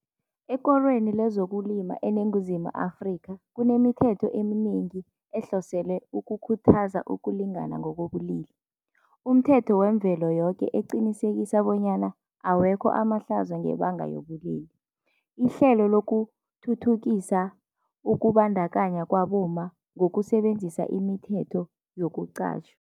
Ekorweni lezokulima eNinguzimu Afrika kunemithetho eminengi ehloselwe ukukhuthaza ukulingana ngokobulili, umthetho wemvelo yoke eqinisekisa bonyana awekho amahlazo ngebanga yobulili. Ihlelo lokuthuthukisa ukubandakanya kwabomma ngokusebenzisa imithetho yokuqatjhwa